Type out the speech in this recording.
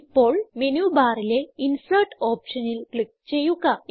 ഇപ്പോൾ മെനുബാറിലെ ഇൻസെർട്ട് ഓപ്ഷനിൽ ക്ലിക്ക് ചെയ്യുക